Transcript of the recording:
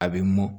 A bɛ mɔn